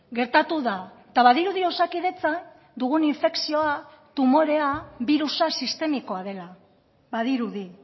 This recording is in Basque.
gertatu da eta badirudi osakidetzan dugun infekzioa tumorea birusa sistemikoa dela badirudi